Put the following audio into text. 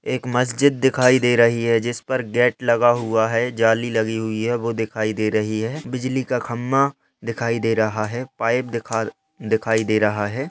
एक मस्जिद दिखाई दे रही है जिस पर गेट लगा हुआ हैं जाली लगी हुई हैं वो दिखाई दे रही है बिजली का खम्भा दिखाई दे रहा है पाइप दिखार दिखाई दे रहा है।